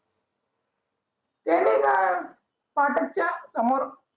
च्या समोर